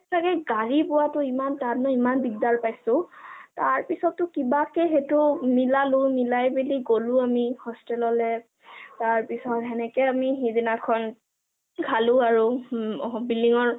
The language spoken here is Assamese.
আৰু সেইটো কাৰণে গাড়ী পোৱাটো ইমান টান ইমান দিগদাৰ পাইছো, তাৰ পিছত কিবাকে হেইটো মিলালো, মিলাই পেনি গলো আমি hostel লে, তাৰপিছত হেনেকে সিদিনা খালো আৰু building ৰ